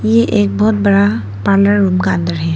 ये एक बहुत बड़ा पार्लर रूम का अंदर है।